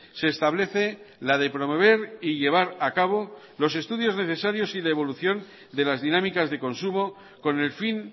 se establece la de promover y llevar a cabo los estudios necesarios y de evolución de las dinámicas de consumo con el fin